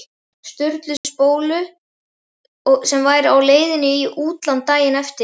Sturlu spólu sem væri á leiðinni í útlán daginn eftir.